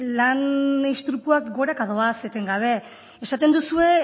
lan istripuak goraka doaz etengabe esaten duzue